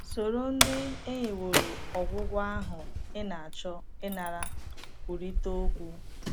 Soro ndị e nyeworo ọgwụgwọ ahụ ị na - achọ ịnara kwurịta okwu.